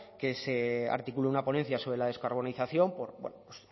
que se articule una ponencia sobre la descarbonización